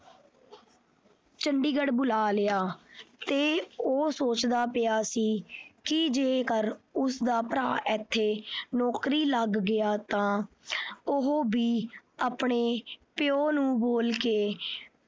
ਚੰਡੀਗੜ੍ਹ ਬੁਲਾ ਲਿਆ ਤੇ ਉਹ ਸੋਚਦਾ ਪਿਆ ਸੀ ਜੇਕਰ ਉਸਦਾ ਭਰਾ ਇੱਥੇ ਨੌਕਰੀ ਲੱਗ ਗਿਆ ਤਾਂ ਉਹ ਵੀ ਆਪਣੇ ਪਿਉ ਨੂੰ ਬੋਲਕੇ